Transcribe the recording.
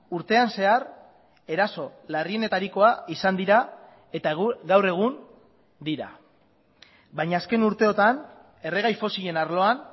urtean zehar eraso larrienetarikoa izan dira eta gaur egun dira baina azken urteotan erregai fosilen arloan